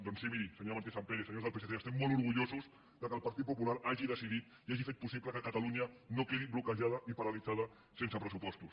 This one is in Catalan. doncs sí miri senyora martínez sampere senyors del psc estem molt orgullosos que el partit popular hagi decidit i hagi fet possible que catalunya no quedi bloquejada ni paralitzada sense pressupostos